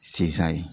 Can ye